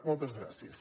moltes gràcies